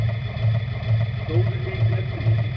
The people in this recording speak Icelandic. Stóðu sig með prýði